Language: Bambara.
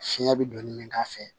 Fiɲɛ bɛ don ni min k'a fɛ